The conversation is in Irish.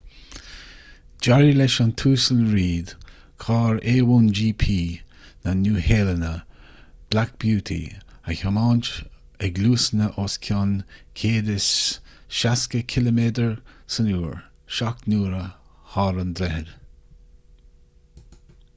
d'éirigh leis an uasal reid carr a1gp na nua-shéalainne black beauty a thiomáint ag luasanna os cionn 160km/h seacht n-uaire thar an droichead